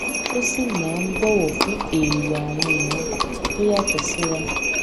ó sì máa ń bọwọ fún èrò àwọn ìran tó yàtọ síra